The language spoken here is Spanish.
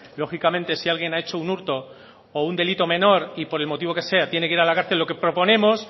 lógicamente si alguien ha hecho un hurto o un delito menor y por el motivo que sea tiene que ir a la cárcel lo que proponemos